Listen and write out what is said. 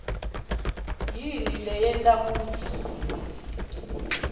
yini leyenta kutsi